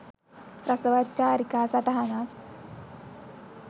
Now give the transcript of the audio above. රසවත් චාරිකා සටහනක්